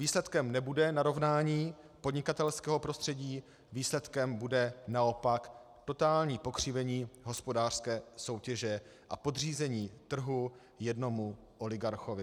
Výsledkem nebude narovnání podnikatelského prostředí, výsledkem bude naopak totální pokřivení hospodářské soutěže a podřízení trhu jednomu oligarchovi.